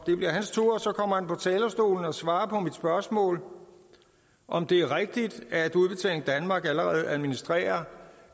det bliver hans tur at komme på talerstolen og svare på mit spørgsmål om det er rigtigt at udbetaling danmark allerede administrerer